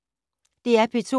DR P2